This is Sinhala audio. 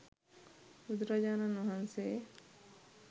බුදුරජාණන් වහන්සේ